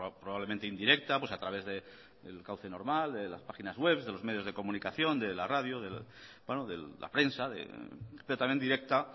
probablemente indirecta pues a través del cauce normal de las páginas web de los medios de comunicación de la radio bueno de la prensa pero también directa